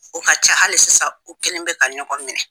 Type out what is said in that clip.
O ka ca hali sisan u kelen bɛ ka ɲɔgɔn minɛ.